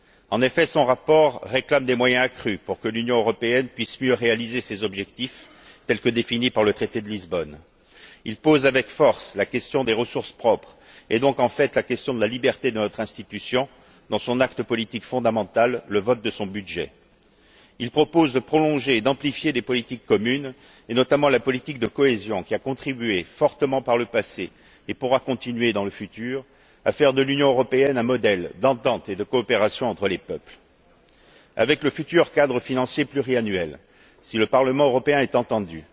En effet, son rapport réclame des moyens accrus pour que l'Union européenne puisse mieux réaliser ses objectifs tels que définis par le traité de Lisbonne. Il pose avec force la question des ressources propres et donc, en fait, la question de la liberté de notre institution, dans son acte politique fondamental, le vote de son budget. Il propose de prolonger et d'amplifier les politiques communes, et notamment la politique de cohésion qui a contribué fortement par le passé et pourra continuer dans le futur à faire de l'Union européenne un modèle d'entente et de coopération entre les peuples. Avec le futur cadre financier pluriannuel, si le Parlement européen est entendu,